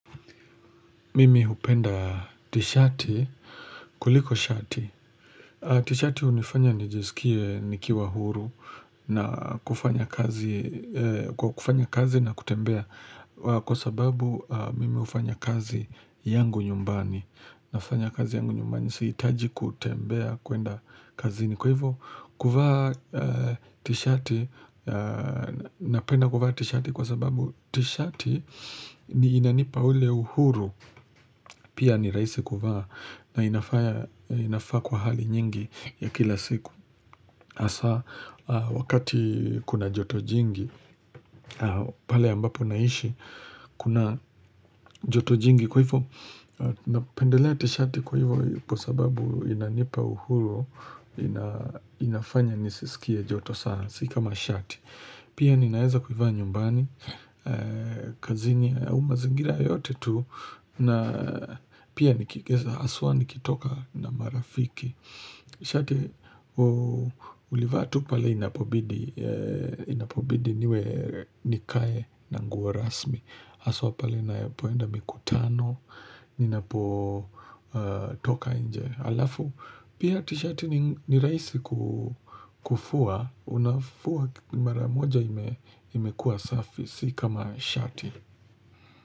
Mimi upenda tishati, kuliko shati. Tishati unifanya nijisikie nikiwa huru na kufanya kazi kwa kufanya kazi na kutembea. Kwa sababu, mimi ufanya kazi yangu nyumbani. Nafanya kazi yangu nyumbani, sihitaji kutembea, kuenda kazi. Kwa hivo, kuvaa tishati, na penda kuvaa tishati kwa sababu tishati ni inanipa ule uhuru. Pia ni rahisi kuvaa na inafanya inafaa kwa hali nyingi ya kila siku Asa, wakati kuna joto jingi, pale ambapo naishi kuna joto jingi Kwa hivyo, napendelea tishati kwa hivyo kwa sababu inanipa uhuru inafanya nisiskie joto saa, si kamashati Pia ninaeza kuivaa nyumbani, kazini au mazingira yote tu na pia haswa nikitoka na marafiki shati ulivaa tu pale inapobidi inapobidi niwe nikae na nguo rasmi haswa pale na poenda mikutano Ninapo toka inje Alafu pia ti shati nirahisi kufua Unafua mara moja imekuwa safi Sikama shati.